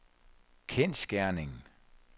kendsgerning